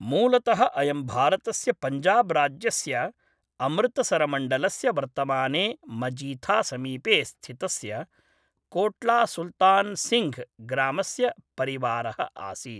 मूलतः अयं भारतस्य पञ्जाब् राज्यस्य अमृतसरमण्डलस्य वर्तमाने मजीथासमीपे स्थितस्य कोट्लासुल्तान् सिङ्घ् ग्रामस्य परिवारः आसीत्।